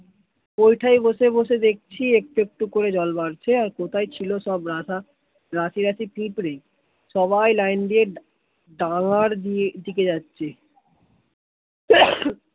ওই টা বসে বসে দেখছি একটু একটু করে জল বাড়ছে, কোথায় ছিল সব রাশি রাশি পিঁপড়ে সবাই লাইন দিয়ে ডাঙ্গার দিকে যাছে